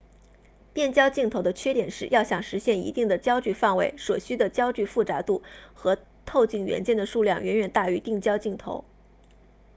变焦镜头的缺点是要想实现一定的焦距范围所需的焦距复杂度和透镜元件的数量远远大于定焦镜头